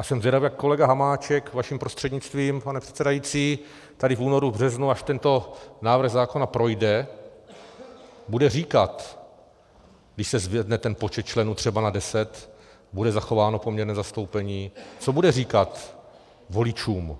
A jsem zvědav, jak kolega Hamáček, vaším prostřednictvím, pane předsedající, tady v únoru, v březnu, až tento návrh zákona projde, bude říkat, když se zvedne ten počet členů třeba na deset, bude zachováno poměrné zastoupení, co bude říkat voličům,